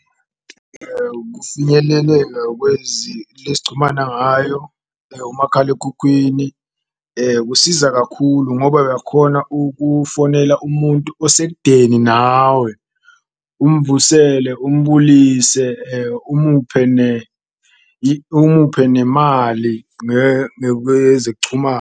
Ukufinyeleleka esichumana ngayo umakhalekhukhwini kusiza kakhulu ngoba uyakhona ukufonela umuntu osekudeni nawe umvusele, umbulise, umuphe umuphe nemali .